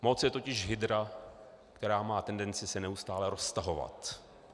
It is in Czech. Moc je totiž hydra, která má tendenci se neustále roztahovat.